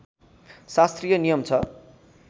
शास्त्रीय नियम छ